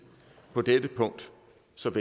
som